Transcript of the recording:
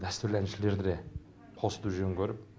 дәстүрлі әншілерді де қосуды жөн көріп